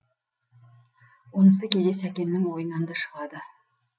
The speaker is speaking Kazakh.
онысы кейде сәкеннің ойынан да шығады